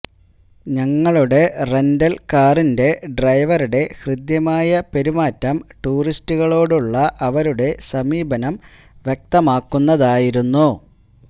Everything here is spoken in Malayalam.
ഞങ്ങളുടെ റെന്റല് കാറിന്റെ ഡ്രൈവറുടെ ഹൃദ്യമായ പെരുമാറ്റം ടൂറിസ്റ്റുകളോടുള്ള അവരുടെ സമീപനം വ്യക്തമാക്കുന്നതായിരുന്നു